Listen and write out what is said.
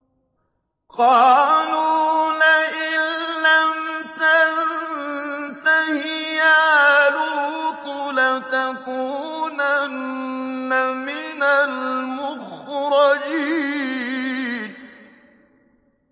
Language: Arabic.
قَالُوا لَئِن لَّمْ تَنتَهِ يَا لُوطُ لَتَكُونَنَّ مِنَ الْمُخْرَجِينَ